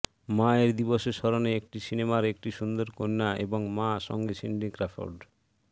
মায়ের দিবসের স্মরণে একটি সিনেমার একটি সুন্দর কন্যা এবং মা সঙ্গে সিন্ডি ক্র্যাফোর্ড